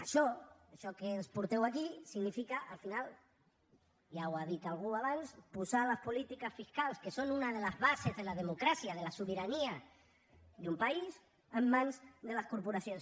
això això que ens porteu aquí significa al final ja ho ha dit algú abans posar les polítiques fiscals que són unes de les bases de la democràcia de la sobirania d’un país en mans de les corporacions